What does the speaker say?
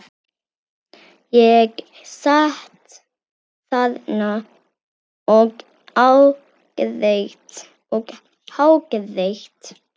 Ég sat þarna og hágrét.